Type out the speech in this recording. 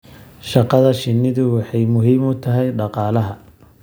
Shaqada shinnidu waxay muhiim u tahay dhaqaalaha.